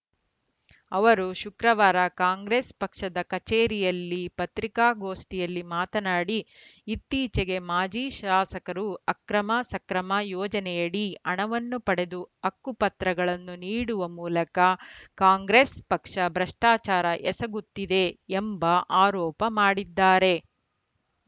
ಅವರು ಶುಕ್ರವಾರ ಕಾಂಗ್ರೆಸ್‌ ಪಕ್ಷದ ಕಚೇರಿಯಲ್ಲಿ ಪತ್ರಿಕಾಗೋಷ್ಠಿಯಲ್ಲಿ ಮಾತನಾಡಿ ಇತ್ತೀಚೆಗೆ ಮಾಜಿ ಶಾಸಕರು ಅಕ್ರಮ ಸಕ್ರಮ ಯೋಜನೆಯಡಿ ಹಣವನ್ನು ಪಡೆದು ಹಕ್ಕುಪತ್ರಗಳನ್ನು ನೀಡುವ ಮೂಲಕ ಕಾಂಗ್ರೆಸ್‌ ಪಕ್ಷ ಭ್ರಷ್ಟಾಚಾರ ಎಸಗುತ್ತಿದೆ ಎಂಬ ಆರೋಪ ಮಾಡಿದ್ದಾರೆ